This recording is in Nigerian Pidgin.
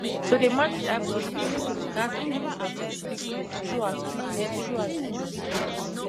to dey manage high blood pressure ghats be reported quick quick throughout quick quick throughout de journey